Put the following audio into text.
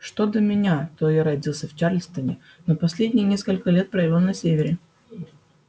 что до меня то я родился в чарльстоне но последние несколько лет провёл на севере